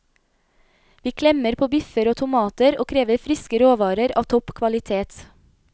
Vi klemmer på biffer og tomater og krever friske råvarer av topp kvalitet.